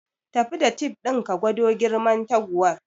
Tafi da tif din ka gwado girman taguwar